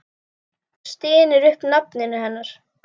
Stynur upp nafninu hennar.